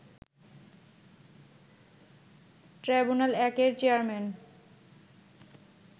ট্রাইব্যুনাল-১ এর চেয়ারম্যান